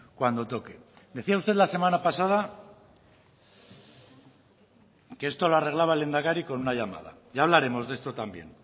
cuando toque decía usted la semana pasada que esto lo arreglaba el lehendakari con una llamada ya hablaremos de esto también